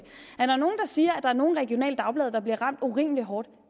siger at der er nogle regionale dagblade der bliver ramt urimelig hårdt